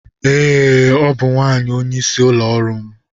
Ee, ọ bụ nwanyị onyeisi ụlọ ọrụ m.